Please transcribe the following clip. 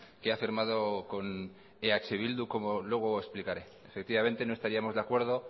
que ha firmado con eh bildu como luego explicaré efectivamente no estaríamos de acuerdo